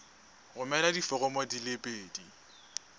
romela diforomo di le pedi